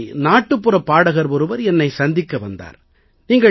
ஒரு முறை நாட்டுப்புறப் பாடகர் ஒருவர் என்னை சந்திக்க வந்தார்